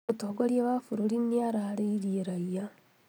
Mũtongoria wa bũrũri nĩararĩirie raia